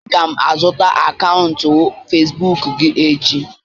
Aga m azụta akaụntụ Facibụkụ gị echi